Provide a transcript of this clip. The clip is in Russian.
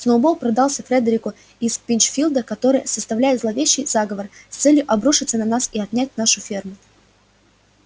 сноуболл продался фредерику из пинчфилда который составляет зловещий заговор с целью обрушиться на нас и отнять нашу ферму